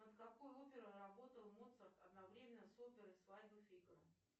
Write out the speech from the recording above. над какой оперой работал моцарт одновременно с оперой свадьба фигаро